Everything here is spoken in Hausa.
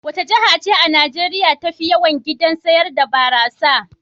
Wace jiha ce a Najeriya tafi yawan gidajen sayar da barasa?